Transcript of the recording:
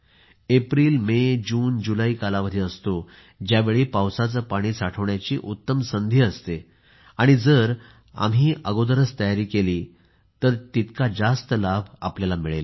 April May June जुलै कालावधी असतो ज्यावेळी पावसाचे पाणी साठवण्याची उत्तम संधी असते आणि जर आम्ही अगोदरच तयार केली तर आपल्याला तितका जास्त लाभ मिळेल